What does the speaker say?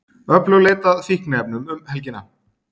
Öflug leit að fíkniefnum um helgina